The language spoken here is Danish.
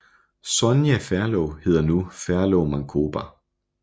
Sonja Ferlov hedder nu Ferlov Mancoba